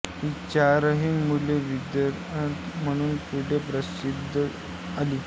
ही चारही मुले विद्वान म्हणून पुढे प्रसिद्धीस आली